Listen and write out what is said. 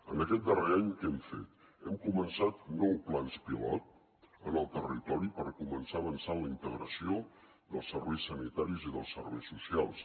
en aquest darrer any què hem fet hem començat nou plans pilot en el territori per començar avançar en la integració dels serveis sanitaris i dels serveis socials